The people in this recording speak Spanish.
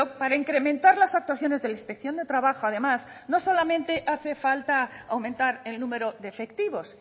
para incrementar las actuaciones de la inspección de trabajo además no solamente hace falta aumentar el número de efectivos